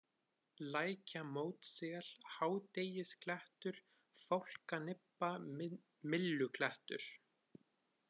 Lækjamótssel, Hádegisklettur, Fálkanibba, Mylluklettur